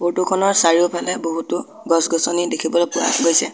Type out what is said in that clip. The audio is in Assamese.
ফটো খনৰ চাৰিওপিনে বহুতো গছ-গছনি দেখিবলৈ পোৱা গৈছে।